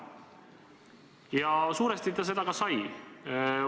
Ja suuresti ta seda ka sai.